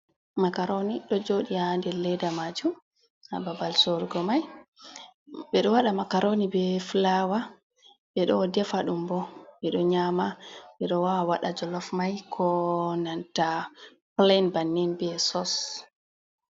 macaroni do jodi ha der ledda majum hababal sorugo mai, bedo wada macaroni be fulawa. Bedo defa dum bo bedo nyama be do waa wada jolof mai ko nanta plen bannin be sos.